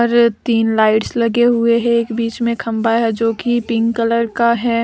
तीन लाइट्स लगे हुए है एक बीच में खम्बा है जो कि पिंक कलर का है।